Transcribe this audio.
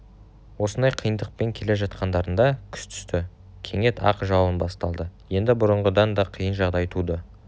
осындай қиындықпен келе жатқандарында күз түсті кенет ақ жауын басталды енді бұрынғыдан да қиын жағдай туды